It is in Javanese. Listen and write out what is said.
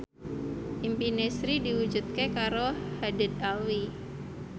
impine Sri diwujudke karo Haddad Alwi